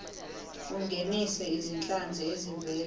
ungenise izinhlanzi ezivela